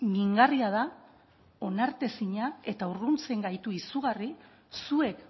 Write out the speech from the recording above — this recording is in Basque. mingarria da onartezina eta urruntzen gaitu izugarri zuek